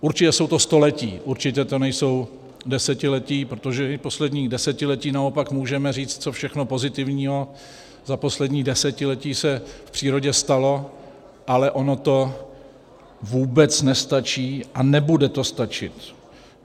Určitě jsou to staletí, určitě to nejsou desetiletí, protože v posledním desetiletí naopak můžeme říci, co všechno pozitivního za poslední desetiletí se v přírodě stalo, ale ono to vůbec nestačí a nebude to stačit.